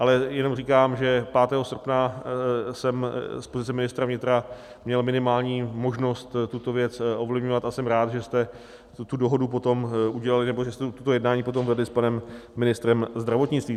Ale jenom říkám, že 5. srpna jsem z pozice ministra vnitra měl minimální možnost tuto věc ovlivňovat, a jsem rád, že jste tu dohodu potom udělali, nebo že jste toto jednání potom vedli s panem ministrem zdravotnictví.